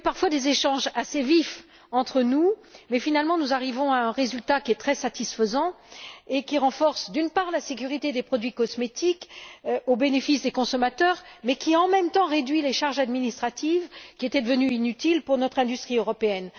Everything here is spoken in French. Il y a eu parfois des échanges assez vifs entre nous, mais finalement nous arrivons à un résultat qui est très satisfaisant et qui renforce, d'une part, la sécurité des produits cosmétique au bénéfice des consommateurs et réduit, d'autre part, les charges administratives qui étaient devenues inutiles pour notre industrie européenne.